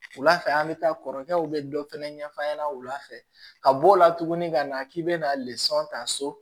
Wula fɛ an bɛ taa kɔrɔkɛw bɛ dɔ fɛnɛ ɲɛf'a ɲɛna wula fɛ ka bɔ o la tugun ka na k'i bɛna ta so